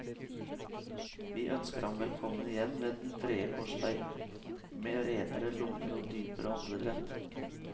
Vi ønsker ham velkommen igjen ved den tredje korsvei, med renere lunger og dypere åndedrett.